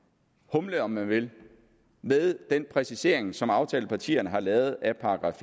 humle om man vil med den præcisering som aftalepartierne har lavet af §